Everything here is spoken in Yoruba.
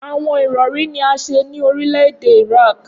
Awọn irọri ni a ṣe ni orilẹ-ede Iraq.